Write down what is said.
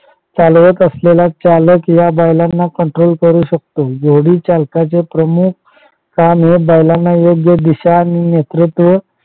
चालवत असलेला चालक हा या बैलांना control करू शकतो घोडी चालकाचे प्रमुख काम हे बैलांना योग्य दिशा आणि नेतृत्व